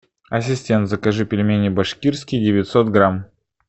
ассистент закажи пельмени башкирские девятьсот грамм